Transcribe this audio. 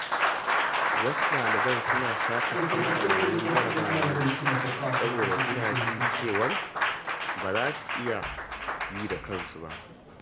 Wasu ɗaliban suna satar amsa yayin jarabawa ne saboda suna jin cewa ba za su iya yi da kansu ba.